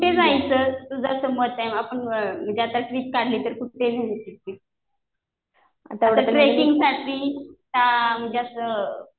कुठे जायचं तुझं असं मत आहे, म्हणजे आता ट्रिप काढली तर ट्रेकिंग साठी म्हणजे असं